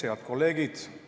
Head kolleegid!